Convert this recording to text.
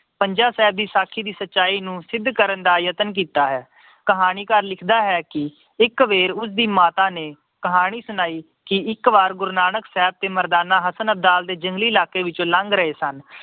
ਪੰਜਾ ਸਾਹਿਬ ਦੀ ਸਚਾਈ ਸਾਕੀ ਨੂੰ ਸਿੱਧ ਕਰਨ ਦਾ ਯਤਨ ਕੀਤਾ ਹੈ। ਕਹਾਣੀਕਾਰ ਲਿਖਦਾ ਹੈ ਕਿ ਇਕ ਵਾਰ ਉਸਦੀ ਮਾਤਾ ਨੇ ਕਹਾਣੀ ਸੁਣਾਈ ਕਿ ਇੱਕ ਵਾਰ ਗੁਰੂ ਨਾਨਕ ਸਾਹਿਬ ਤੇ ਮਰਦਾਨਾ ਹਸਨ ਅਬਦਲ ਦੇ ਜੰਗਲੀ ਇਲਾਕੇ ਵਿੱਚੋਂ ਲੰਘ ਰਹੇ ਸਨ।